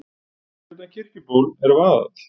Fyrir utan Kirkjuból er vaðall.